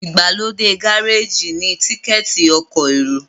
igbalode Gáréèjì ni Tíkẹ́ẹ̀tì ọkọ̀ èrò